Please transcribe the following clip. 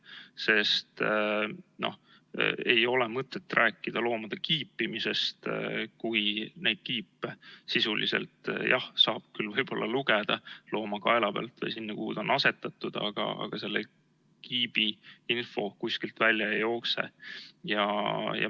Sest ei ole mõtet rääkida loomade kiipimisest, kui neid kiipe sisuliselt jah saab küll lugeda looma kaela pealt või sealt, kuhu see on asetatud, aga selle kiibi info kuskilt välja ei jookse.